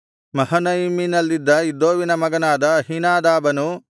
ಮಹನಯಿಮಿನಲ್ಲಿದ್ದ ಇದ್ದೋವಿನ ಮಗನಾದ ಅಹೀನಾದಾಬನು